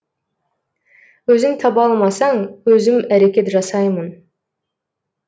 өзің таба алмасаң өзім әрекет жасаймын